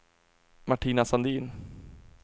Martina Sandin